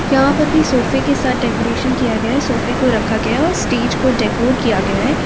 यहाँ पर भी सोफे के साथ डेकोरेशन किया गया हैं। सोफे को रखा गया है और स्टेज को डेकोर किया गया है।